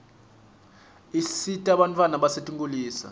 isita bantfwana basetinkulisa